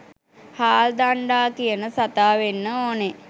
හාල් දණ්ඩා කියන සතා වෙන්න ඕනෙ